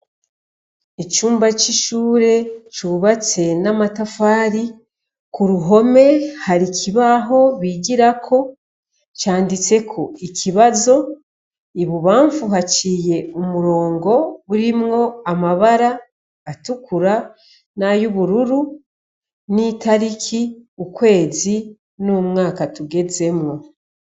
Icumba c'ishure cubatse n'amatafari ku ruhome hari ikibaho bigirako canditseko ikibazo ibubamfu haciye umurongo burimwo amabara atukura n'ay’ubururu n'itariki ukwezi n'umwaka tugezemwo.